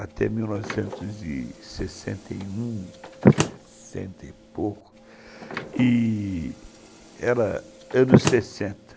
até mil novecentos e sessenta e um, sessenta e pouco e era anos sessenta.